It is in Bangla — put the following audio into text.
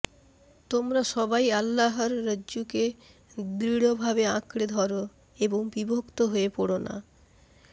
তোমরা সবাই আল্লাহর রজ্জুকে দৃঢ়ভাবে আঁকড়ে ধরো এবং বিভক্ত হয়ে পড়ো না